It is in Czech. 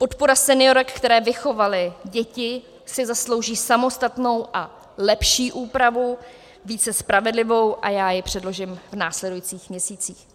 Podpora seniorek, které vychovaly děti, si zaslouží samostatnou a lepší úpravu, více spravedlivou, a já ji předložím v následujících měsících.